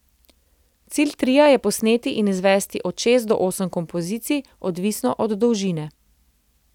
Cilj tria je posneti in izvesti od šest do osem kompozicij, odvisno od dolžine.